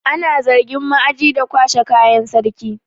Ana zargin ma'aji da kwashe kayan sarki.